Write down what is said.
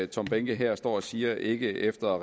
tom behnke her står og siger ikke efter